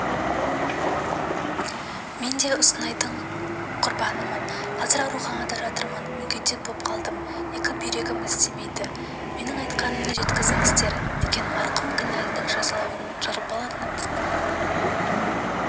мен де ұнсынайдың құрбанымын қазір ауруханада жатырмын мүгедек боп қалдым екі бүйрегім істемейді менің айтқанымды жеткізіңдер деген марқұм кінәлінің жазалануын жалбарынып